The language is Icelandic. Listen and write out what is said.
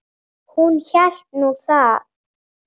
Hún hélt nú það.